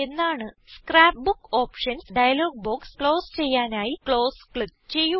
scrap book options dialog box close ചെയ്യാനായി close click ചെയ്യുക